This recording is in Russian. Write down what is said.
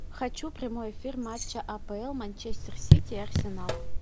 хочу прямой эфир матча апл манчестер сити арсенал